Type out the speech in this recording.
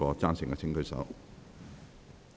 贊成的請舉手。